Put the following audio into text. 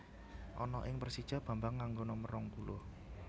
Ana ing Persija Bambang nganggo nomer rong puluh